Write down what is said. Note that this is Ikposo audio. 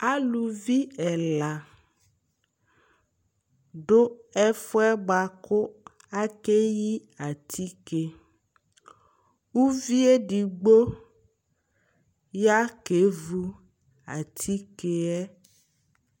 alʋvi ɛla dʋ ɛƒʋɛ bʋakʋ akɛyi atikè, ʋviɛ ɛdigbɔ ya kɛvʋ atikèɛ